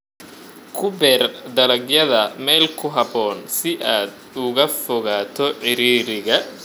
Ku beer dalagyada meel ku habboon si aad uga fogaato ciriiriga.